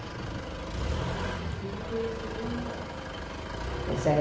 E ele foi esse primeiro namorado